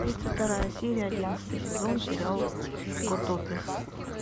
тридцать вторая серия одиннадцатый сезон сериал котопес